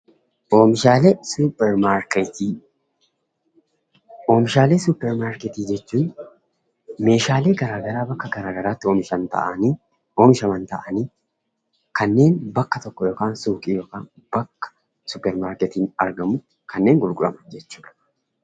Oomishaalee suppermaarketii: Oomishaalee suppermaarketii jechuun meeshaalee garaagaraa bakka garaagaraatti oomishan ta'anii oomishaman ta'anii kanneen bakka tokko yookaan suuqii yookaan bakka suppermaarketiin argamutti kanneen gurguraman jechuu dha.